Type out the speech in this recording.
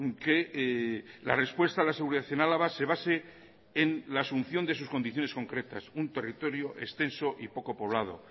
que la respuesta a la seguridad en álava se base en la asunción de sus condiciones concretas un territorio extenso y poco poblado